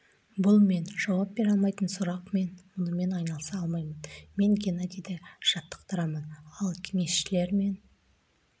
бұл мен жауап бере алмайтын сұрақ мен мұнымен айналыса алмаймын мен геннадийді жаттықтырамын ал кеңесшілер мен